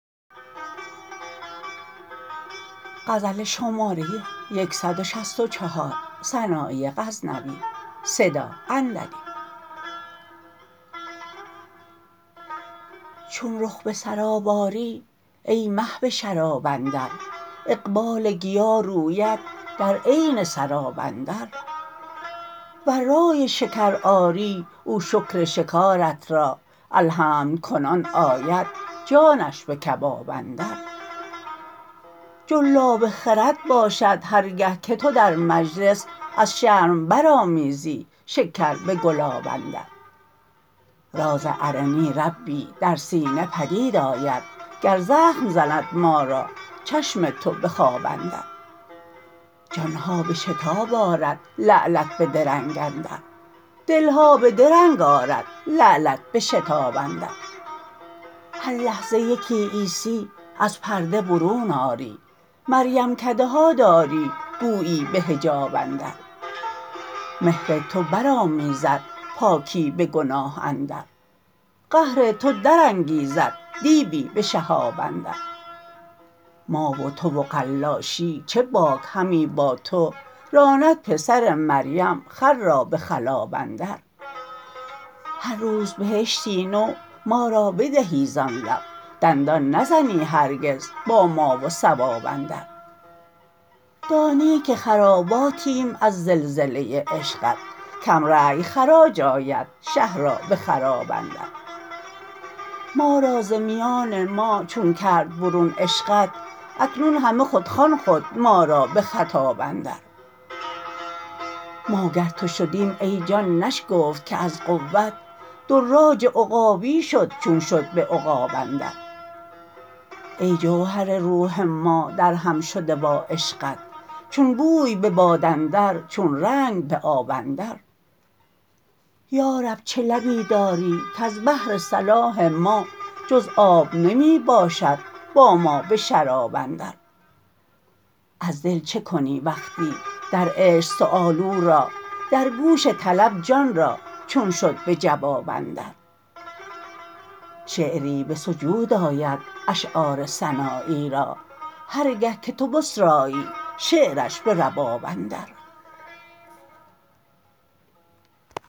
چون رخ به سراب آری ای مه به شراب اندر اقبال گیا روید در عین سراب اندر ور رای شکار آری او شکر شکارت را الحمد کنان آید جانش به کباب اندر جلاب خرد باشد هر گه که تو در مجلس از شرم برآمیزی شکر به گلاب اندر راز ارنی ربی در سینه پدید آید گر زخم زند ما را چشم تو به خواب اندر جان ها به شتاب آرد لعلت به درنگ اندر دل ها به درنگ آرد لعلت به شتاب اندر هر لحظه یکی عیسی از پرده برون آری مریم کده ها داری گویی به حجاب اندر مهر تو برآمیزد پاکی به گناه اندر قهر تو درانگیزد دیوی به شهاب اندر ما و تو و قلاشی چه باک همی با تو راند پسر مریم خر را به خلاب اندر هر روز بهشتی نو ما را بدهی زان لب دندان نزنی هرگز با ما و ثواب اندر دانی که خراباتیم از زلزله عشقت کم رای خراج آید شه را به خراب اندر ما را ز میان ما چون کرد برون عشقت اکنون همه خود خوان خود ما را به خطاب اندر ما گر تو شدیم ای جان نشگفت که از قوت دراج عقابی شد چون شد به عقاب اندر ای جوهر روح ما درهم شده با عشقت چون بوی به باد اندر چون رنگ به آب اندر یارب چه لبی داری کز بهر صلاح ما جز آب نمی باشد با ما به شراب اندر از دل چکنی وقتی در عشق سوال او را در گوش طلب جان را چون شد به جواب اندر شعری به سجود آید اشعار سنایی را هر گه که تو بسرایی شعرش به رباب اندر